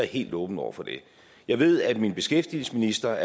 helt åben over for det jeg ved at min beskæftigelsesminister